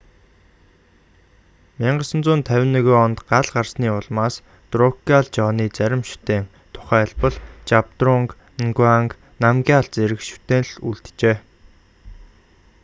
1951 онд гал гарсны улмаас друкгял жоны зарим шүтээн тухайлбал жабдрунг нгаванг намгяал зэрэг шүтээн л үлджээ